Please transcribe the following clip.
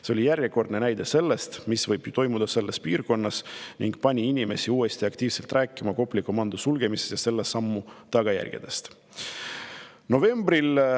See oli järjekordne näide, mis võib selles piirkonnas toimuda, ning see pani inimesi uuesti aktiivselt rääkima Kopli komando sulgemisest ja selle sammu tagajärgedest.